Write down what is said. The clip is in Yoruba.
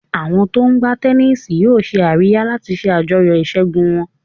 Àwọn tó ń gbá tẹníìsì yóò ṣe àríyá láti ṣe àjọyọ̀ ìṣẹ́gun wọn.